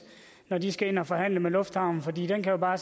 når de skal ind at forhandle med lufthavnen fordi den jo bare